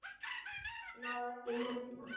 Má ekki nefna